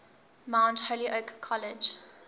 mount holyoke college